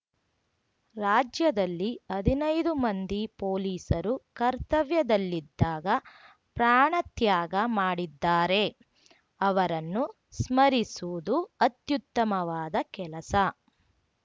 ರಾಜ್ಯದಲ್ಲಿ ಹದಿನೈದು ಮಂದಿ ಪೊಲೀಸರು ಕರ್ತವ್ಯದಲ್ಲಿದ್ದಾಗ ಪ್ರಾಣತ್ಯಾಗ ಮಾಡಿದ್ದಾರೆ ಅವರನ್ನು ಸ್ಮರಿಸುವುದು ಅತ್ಯುತ್ತಮವಾದ ಕೆಲಸ